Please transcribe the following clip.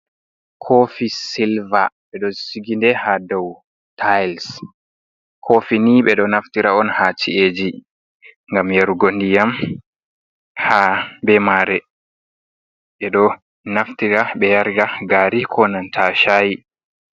Koofi silva, ɓe ɗo sigi ndee ha dow tails. Koofi ni ɓe ɗo naftira on, ha ci’eeji gam yarugo ndiyam ha bee masre ɓe ɗo naftira bee yarira gaari ko nanta shaayi.